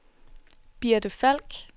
Birte Falk